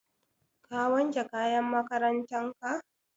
Ka wanke kayan makarantan ka?